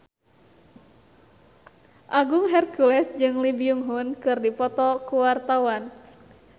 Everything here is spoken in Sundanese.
Agung Hercules jeung Lee Byung Hun keur dipoto ku wartawan